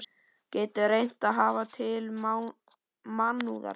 Getur reynt að höfða til mannúðar.